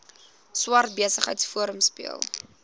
swart besigheidsforum speel